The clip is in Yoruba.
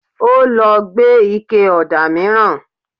Ó lọ gbé ike ọ̀dà mìíràn